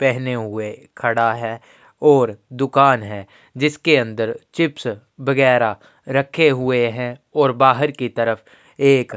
पेहने हुए खड़ा है ओर दुकान है जिसके अंदर चिप्स वगैरा रखे हुए है ओर बाहर की तरफ एक --